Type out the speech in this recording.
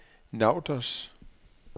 Nauders